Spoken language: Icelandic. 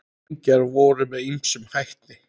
Engjar voru með ýmsum hætti.